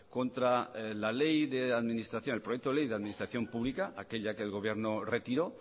contra la ley de administración el proyecto de ley de administración pública aquella que el gobierno retiró